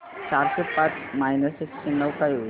चारशे पाच मायनस एकशे नऊ काय होईल